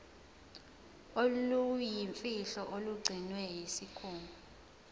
oluyimfihlo olugcinwe yisikhungo